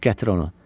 Gətir onu.